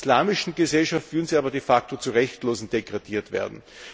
In einer islamischen Gesellschaft würden sie aber de facto zu Rechtlosen degradiert werden.